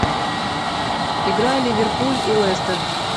игра ливерпуль и лестер